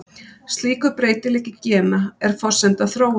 Slíkur breytileiki gena er forsenda þróunar.